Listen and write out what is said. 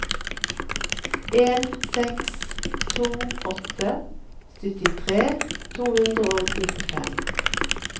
en seks to åtte syttitre to hundre og nittifem